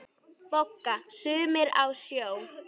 BOGGA: Sumir á sjó!